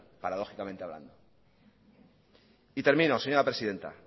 paradójicamente hablando y termino señora presidenta